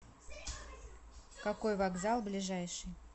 какой вокзал ближайший